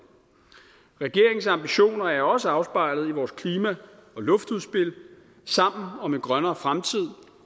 regeringens ambitioner er også afspejlet i vores klima og luftudspil sammen om en grønnere fremtid